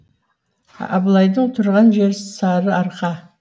абылайдың тұрған жері сарыарқа